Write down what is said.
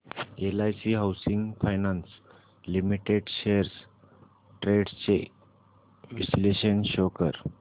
LIC housing finance limited shares trends चे विश्लेषण show कर